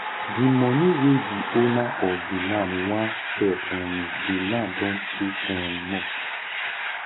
the money wey the owner of the land wan sell um the land don too um much